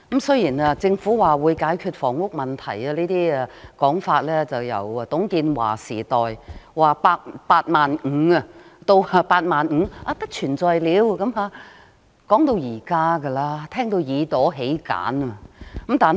雖然政府表示會解決房屋問題，但這種說法由董建華時代——當年說的"八萬五"，到後來不存在了——一直說到現在，我們都聽得耳朵起繭。